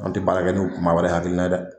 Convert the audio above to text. An te baara kɛ ni maa wɛrɛ hakilina ye dɛ!